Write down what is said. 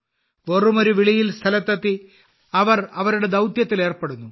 വെറുമൊരു വിളിയിൽ സ്ഥലത്തെത്തി അവർ അവരുടെ ദൌത്യത്തിൽ ഏർപ്പെടുന്നു